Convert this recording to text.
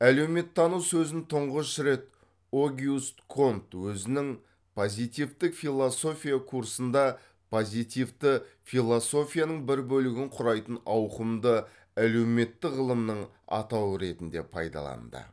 әлеуметтану сөзін тұңғыш рет огюст конт озінің позитивтік философия курсында позитивті философияның бір бөлігін құрайтын ауқымды әлеуметтік ғылымның атауы ретінде пайдаланды